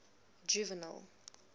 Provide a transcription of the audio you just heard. juvenal